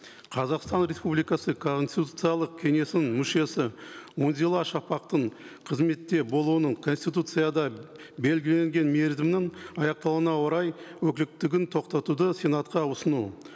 қазақстан республикасы конституциялық кеңесінің мүшесі үнзила шапақтың қызметте болуының конституцияда белгіленген мерзімнің аяқталуына орай тоқтатуды сенатқа ұсыну